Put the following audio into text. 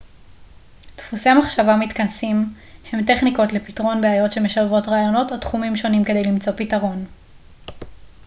דפוסי מחשבה מתכנסים הם טכניקות לפתרון בעיות שמשלבות רעיונות או תחומים שונים כדי למצוא פתרון